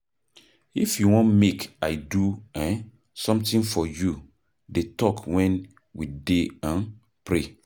If you wan make I do um something for you dey talk wen we dey um pray.